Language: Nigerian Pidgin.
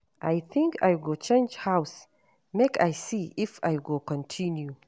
I think I go change house make I see if I go continue.